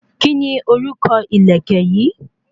Kíni orúkọ ìlẹ̀kẹ̀ yìí?